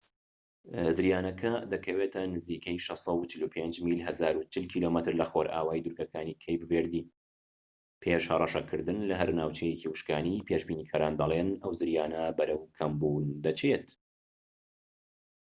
زریانەکە دەکەوێتە نزیکەی 645 میل 1040 کم لەخۆرئاوای دوورگەکانی کەیپ ڤێردییە، پێش هەڕەشەکردن لەهەر ناوچەیەکی وشکانی، پێشبینیکەرەکان دەڵێن، ئەو زریانە بەرەو کەمبوون دەچێت‎